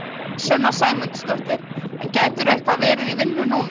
Sunna Sæmundsdóttir: En gætirðu eitthvað verið í vinnu núna?